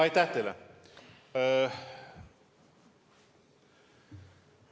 Aitäh teile!